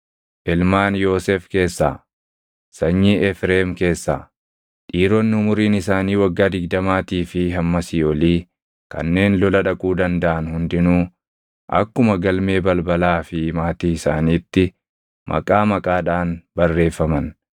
Ilmaan Yoosef keessaa: Sanyii Efreem keessaa: Dhiironni umuriin isaanii waggaa digdamaatii fi hammasii olii kanneen lola dhaquu dandaʼan hundinuu akkuma galmee balbalaa fi maatii isaaniitti maqaa maqaadhaan barreeffaman.